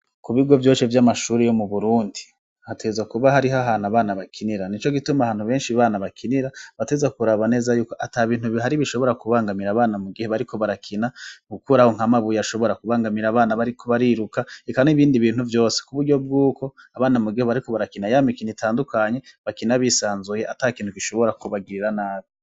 ku bigo vyose vy'amashuri yo mu burundi hategerezwa kuba hariho ahantu abana bakinira ni co gituma ahantu benshi bana bakinira bateza kuraba neza yuko ati ha bintu bihari bishobora kubangamira abana mu gihe bariko barakina gukura aho nka mabuye ashobora kubangamira abana bariko bariruka ikanu ibindi bintu vyose ku buryo bw'uko abana mu gihe bariko barakina ya mikini itandukanye bakina bisanzuye atakinuke ishobora kubagirira nabi.